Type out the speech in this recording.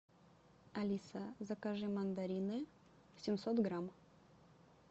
алиса закажи мандарины семьсот грамм